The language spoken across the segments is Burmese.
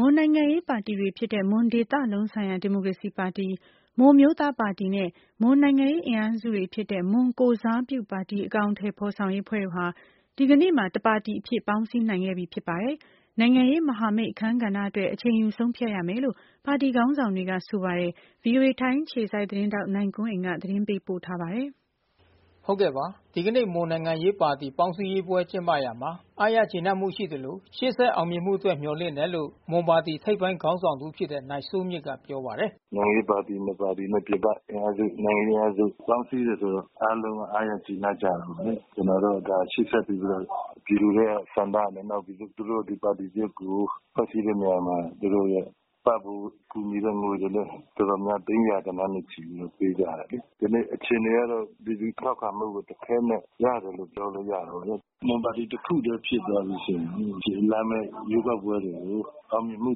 မွန်နိုင်ငံရေးပါတီတွေဖြစ်တဲ့မွန်ဒေသလုံးဆိုင်ရာဒီမိုကရေစီပါတီ၊ မွန်အမျိုးသားပါတီနဲ့ မွန်နိုင်ငံရေး အင်အားစု တွေဖြစ်တဲ့ မွန်ကိုယ်စားပြုပါတီ အကောင်အထည်ဖော်ဆောင်ရေး အဖွဲ့တို့ဟာ ဒီကနေ့မှာ တပါတီအဖြစ် ပေါင်း စည်းနိုင်ခဲ့ပြီ ဖြစ်ပါတယ်။ နိုင်ငံရေးမဟာမိတ်အခန်းကဏ္ဍအတွက် အချိန်ယူဆုံးဖြတ်ရမယ်လို့ ပါတီ ခေါင်းဆောင် တွေက ဆိုပါတယ်။ ဗွီအိုအေထိုင်းအခြေစိုက် သတင်းထောက် နိုင်ကွန်းအိန်က သတင်းပေးပို့ ထားပါတယ်။ ဒီကနေ့မွန်နိုင်ငံရေးပါတီပေါင်းစည်းရေးပွဲကျင်းပရာမှာ အားရကျေနပ်မှုရှိသလို ရှေ့ဆက် အောင်မြင်မှု အတွက် မျှော်လင့်တယ်လို့ မွန်ပါတီထိပ်ပိုင်းခေါင်းဆောင်တဦးဖြစ်တဲ့ နိုင်စိုးမြင့်က ပြောပါတယ်။ “နိုင်ငံရေးပါတီနှစ်ပါတီနဲ့ ပြင်ပအင်အားစု နိုင်ငံရေးအင်အားစုပေါင်းစည်းတယ်ဆိုတော့ အားလုံးက အားရ ကျေနပ် ကြတယ်။ ကျနော်က ရှေ့ဆက်ပြီးတော့ ပြည်သူတွေရဲ့ဆန္ဒနဲ့၊ နောက် သူတို့ ဒီပါတီ သစ်ကို ဖွဲ့စည်းတဲ့ နေရာမှာ သူတို့ရဲ့ ပံ့ပိုးကူညီတဲ့ငွေတွေလည်း သိန်းရာဂဏန်းနဲ့ပေးကြတယ်။ ကနေ့အခြေအနေကတော့ လူထု ထောက်ခံမှုကို တခဲနက်ရတယ်လို့ပြောလို့ရတယ်ပေါ့လေ။ မွန်ပါတီတခုတည်းဖြစ်သွားပြီးဆိုရင် လာမဲ့ ရွေးကောက်ပွဲတွေကို အောင်မြင်မှု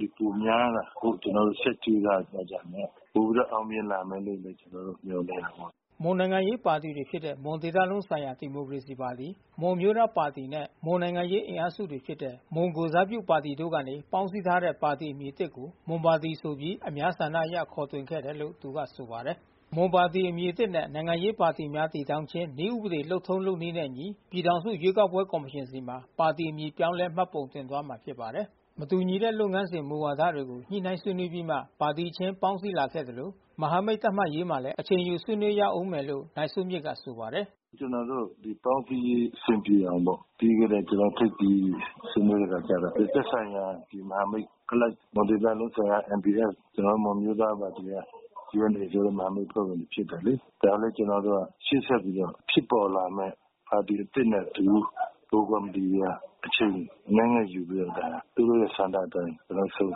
တွေပိုများလာဖို့ ကျနော်တို့ ဆက်ကြိုးစားသွားကြမယ်။ ပိုပြီးတော့ အောင်မြင်လာမယ်လို့ ကျနော်တို့မျှော်လင့် တာပေါ့။” မွန်နိုင်ငံရေးပါတီတွေဖြစ်တဲ့မွန်ဒေသလုံးဆိုင်ရာဒီမိုကရေစီပါတီ၊ မွန်အမျိုးသားပါတီနဲ့ မွန်နိုင်ငံရေး အင်အားစု တွေ ဖြစ်တဲ့ မွန်ကိုယ်စားပြုပါတီတို့ကနေပေါင်းစည်းထားတဲ့ ပါတီအမည်သစ်ကို မွန်ပါတီ ဆိုပြီး အများဆန္ဒအရ ခေါ်တွင်ခဲ့တယ်လို့ သူကဆိုပါတယ်။ မွန်ပါတီအမည်သစ်နဲ့ နိုင်ငံရေးပါတီများတည်ထောင်ခြင်း နည်းဥပဒေ လုပ်ထုံးလုပ်နည်းနဲ့အညီ ပြည် ထောင်စု ရွေးကောက်ပွဲကော်မရှင်ဆီမှာ ပါတီအမည်ပြောင်းလဲ မှတ်ပုံတင်သွားမှာဖြစ်ပါတယ်။ မတူညီတဲ့လုပ်ငန်းစဉ် မူဝါဒတွေကို ညှိနှိုင်းဆွေးနွေးပြီးမှ ပါတီခြင်းပေါင်းစည်းလာခဲ့သလို မဟာမိတ် သတ်မှတ်ရေးမှာလည်း အချိန်ယူဆွေးနွေးရဦးမယ်လို့ နိုင်စိုးမြင့်က ဆိုပါတယ်။ “ကျနော်တို့ ပေါင်းစည်းရေးအဆင်ပြေအောင်ပေါ့။ ပြီးခဲ့တဲ့ ထိပ်သီးဆွေးနွေးတဲ့အခါကျတော့ သက်ဆိုင်ရာ မဟာမိတ်အလိုက် မွန်ဒေသလုံးဆိုင်ရာက NBF ကျနော်တို့ မွန်အမျိုးသားပါတီက UNA မဟာမိတ် အဖွဲ့ဝင်တွေ ဖြစ်တယ်လေ။ ဒါကလည်း ကျနော်တို့က ရှေ့ဆက်ပြီးမှ ဖြစ်ပေါ်လာမဲ့ ပါတီသစ်နဲ့အတူ ဗဟိုကော်မီတီတွေက အချိန်အနည်းငယ်ယူပြီးတော့ ဒါ သူတို့ရဲ့ဆန္ဒအတိုင်း ကျနော်တို့ဆုံး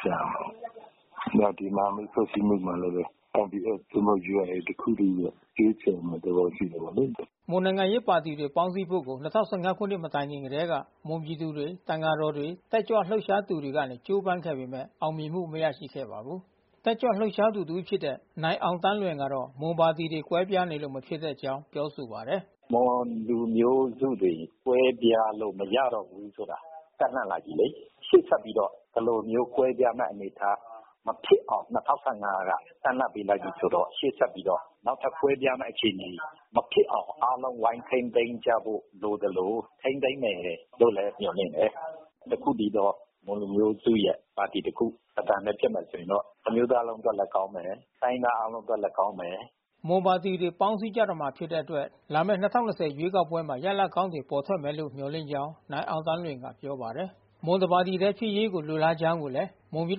ဖြတ်ရမယ်။ နောက်ဒီမဟာမိတ် ဖွဲ့စည်းမှု မှာလည်းပဲ NBF သို့မဟုတ် UNA တခု တည်းရဲ့ ရွေးချယ်မှုတော့ ရှိမှာပေါ့လေ။” မွန်နိုင်ငံရေးပါတီတွေ ပေါင်းစည်းဖို့ကို ၂၀၁၅ ခုနှစ် မတိုင်ခင်ကတည်းက မွန်ပြည်သူတွေ၊ သံဃာတော်တွေ၊ တက်ကြွ လှုပ်ရှားသူတွေကနေ ကြိုးပမ်းခဲ့ပေမဲ့ အောင်မြင်မှု မရရှိခဲ့ပါဘူး။ တက်ကြွလှုပ်ရှားသူတဦးဖြစ်တဲ့ နိုင်အောင်သန်းလွင်ကတော့ မွန်ပါတီတွေကွဲပြားနေလို့ မဖြစ်တဲ့အကြောင်း ပြောဆိုပါတယ်။ “မွန်လူမျိုးစုတွေ ကွဲပြားလို့မရတော့ဘူးဆိုတာ တပ်လှန့်လိုက်ပြီလေ။ ရှေ့ဆက်ပြီးတော့ ဒီလိုမျိုး ကွဲပြားမဲ့အနေ အထား မဖြစ်အောင် (၂၀၁၅) က တပ်လှန့်ပေးလိုက်ပြီးဆိုတော့ ရှေ့ဆက်ပြီးတော့ နောက်ထပ်ကွဲပြားမဲ့ အခြေအနေ မဖြစ်အောင် အားလုံးဝိုင်းထိန်းသိမ်းကြဖို့လိုသလို ထိန်းသိမ်း မယ်လို့လည်း မျှော်လင့်တယ်။ တခုတည်းသောမွန်လူမျိုးစုရဲ့ပါတီတခု၊ တသံတည်း ဖြစ်မယ် ဆိုရင်တော့ တမျိုးသားလုံးအတွက်လည်း ကောင်းမယ်။ တိုင်းရင်းသားအားလုံးအတွက်လည်း ကောင်းမယ်။” မွန်ပါတီတွေ ပေါင်းစည်းကြတော့မှာဖြစ်တဲ့အတွက် လာမဲ့ (၂၀၂၀) ရွေးကောက်ပွဲမှာ ရလဒ် ကောင်းတွေ ပေါ်ထွက်မယ်လို့ မျှော်လင့်ကြောင်း နိုင်အောင်သန်းလွင်က ပြောပါတယ်။ မွန်တပါတီတည်းဖြစ်ရေးကို လိုလားကြောင်း မွန်ပြည်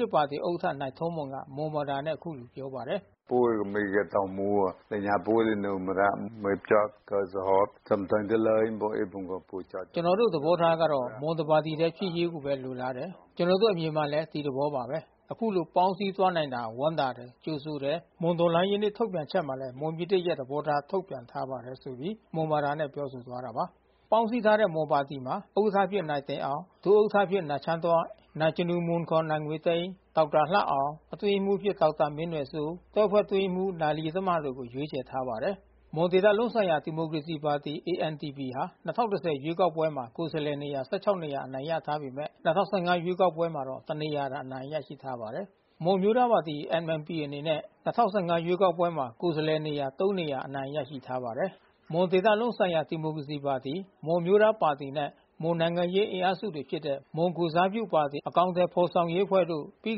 သစ်ပါတီဥက္ကဋ္ဌ နိုင်ထောမွန်က မွန်ဘာသာနဲ့ အခုလို ပြော ပါတယ်။ “ကျနော်တို့သဘောထားကတော့ မွန်တပါတီဖြစ်ရေးပဲ လိုလားတယ်၊ ကျနော်တို့အမြင်ကလည်း ဒီသဘောပါပဲ၊ ခုလို ပေါင်းစည်းသွားနိုင်တာကို ဝမ်းသာတယ်၊ ကြိုဆိုတယ်၊ မွန်တော်လှန်ရေးနေ့ ထုတ်ပြန်ချက်မှာလည်း မွန်ပြည်သစ်ရဲ့ သဘောထား ထုတ်ပြန်ထားပါတယ်။” ပေါင်းစည်းထားတဲ့မွန်ပါတီမှာ ဥက္ကဋ္ဌအဖြစ်နိုင်တင်အောင် ဒုဥက္ကဋ္ဌတွေအဖြစ် နိုင်ချမ်းတွဲ့၊ နိုင်ဇနူမွန် ခေါ် နိုင်ငွေသိန်း၊ ဒေါက်တာလှအောင်၊ အတွင်းရေးမှူးအဖြစ် ဒေါက်တာမင်းနွယ်စိုး၊ တွဲဖက် အတွင်းရေးမှူး နိုင် လယီတမတို့ကို ရွေးချယ် ထားပါတယ်။ မွန်ဒေသလုံးဆိုင်ရာဒီမိုကရေစီပါတီ AMDP ဟာ (၂၀၁၀) ရွေးကောက်ပွဲမှာ ကိုယ်စားလှယ်နေရာ (၁၆) နေရာ အနိုင် ရထားပေမဲ့ (၂၀၁၅) ရွေးကောက်ပွဲမှာတော့ တနေရာသာအနိုင်ရရှိထားပါတယ်။ မွန်အမျိုးသားပါတီ MNP အနေနဲ့ ၂၀၁၅ ရွေးကောက်ပွဲမှာကိုယ်စားလှယ်နေရာ (၃) နေရာ အနိုင်ရ ထားပါတယ်။ မွန်ဒေသလုံးဆိုင်ရာဒီမိုကရေစီပါတီ၊ မွန်အမျိုးသားပါတီနဲ့ မွန်နိုင်ငံရေးအင်အားစုတွေဖြစ်တဲ့ မွန် ကိုယ်စားပြုပါတီ အကောင်အထည်ဖော်ဆောင်ရေးအဖွဲ့တို့ ပြီး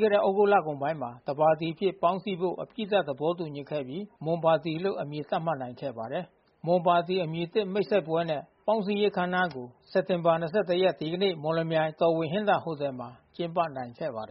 ခဲ့တဲ့သြဂုတ်လကုန်ပိုင်းမှာ တပါတီ အဖြစ် ပေါင်းစည်းဖို့အပြီးသတ် သဘောတူညီခဲ့ပြီး မွန်ပါတီလို့ အမည်သတ်မှတ်နိုင်ခဲ့ပါတယ်။ “မွန်ပါတီ Mon Party ” အမည်သစ်မိတ်ဆက်ပွဲနှင့် ပေါင်းစည်းရေးအခမ်းအနားကို စက်တာဘာ၂၁ ရက် ဒီကနေ့ မော်လမြိုင်မြို့၊ တော်ဝင်ဟင်္သာဟိုတယ် Royal Hinther Hotel မှာ ကျင်းပနိုင်ခဲ့ပါ တယ်